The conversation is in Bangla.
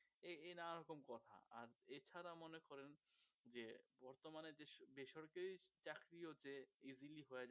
এর নানারকম কথা আর এছাড়া মনে করেন যে বর্তমানে বেসরকারি চাকরিও যে easily হয়ে যায়